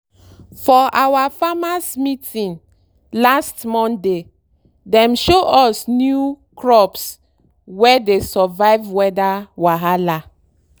for our farmers’ meeting last monday dem show us new crops wey dey survive weather wahala.